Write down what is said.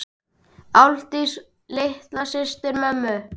Ásdís var litla systir mömmu.